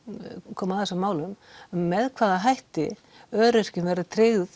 koma að þessum málum með hvaða hætti öryrkjum verður tryggð